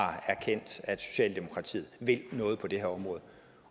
har erkendt at socialdemokratiet vil noget på det her område